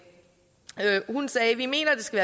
hun sagde vi mener at det skal